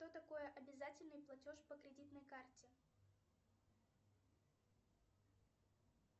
что такое обязательный платеж по кредитной карте